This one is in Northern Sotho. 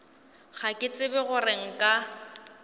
ga ke tsebe gore nka